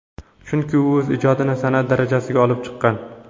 Chunki u o‘z ijodini san’at darajasiga olib chiqqan.